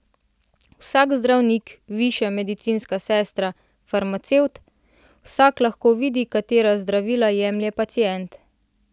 Vsak zdravnik, višja medicinska sestra, farmacevt, vsak lahko vidi, katera zdravila jemlje pacient.